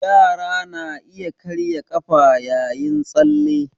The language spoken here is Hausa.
Yara na iya karya ƙafa yayin tsalle